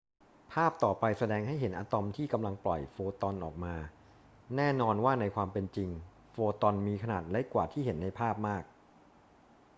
ภาพต่อไปแสดงให้เห็นอะตอมที่กำลังปล่อยโฟตอนออกมา แน่นอนว่าในความเป็นจริงโฟตอนมีขนาดเล็กกว่าที่เห็นในภาพมาก